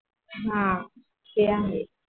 हा ते आहे.